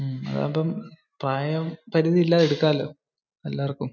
അതാവുമ്പോ പ്രായം പരുതി ഇല്ലാതെ എടുക്കലോ എല്ലാര്ക്കും.